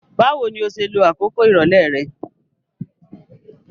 Báwoni o se lo àkókò ìrọ̀lẹ́ re